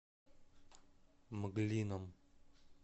мглином